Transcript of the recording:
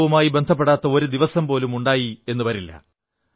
ഉത്സവവുമായി ബന്ധപ്പെടാത്ത ഒരു ദിവസം പോലും ഉണ്ടായെന്നു വരില്ല